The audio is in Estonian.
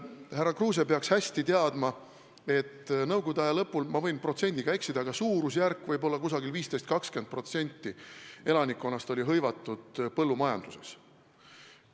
Härra Kruuse peaks hästi teadma, et nõukogude aja lõpul – ma võin protsendiga eksida, aga suurusjärk peaks õige olema – tervelt 15–20% elanikkonnast oli hõivatud põllumajanduses.